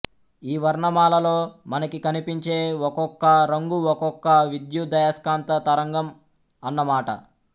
ఈ వర్ణమాలలో మనకి కనిపించే ఒకొక్క రంగు ఒకొక్క విద్యుదయస్కాంత తరంగం అన్న మాట